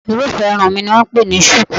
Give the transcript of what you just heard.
Irúfẹ́ irun mi ni wọ́n ń pè ní ṣùkú